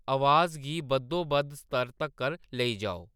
अवाज गी बद्धोबद्ध स्तर तक्कर लेई जाओ